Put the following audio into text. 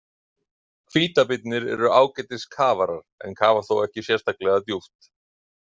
Hvítabirnir eru ágætis kafarar en kafa þó ekki sérstaklega djúpt.